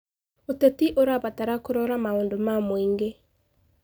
ũteti ũrabatara kũrora maũndũ ma mũingĩ.